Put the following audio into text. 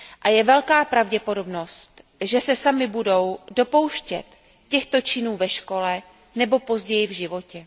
Je velká pravděpodobnost, že se samy budou dopouštět těchto činů ve škole nebo později v životě.